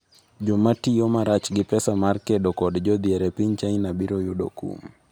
Joma tiyo marach gi pesa mar kedo kod jodhier e piny China biro yudo kum